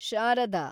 Sharada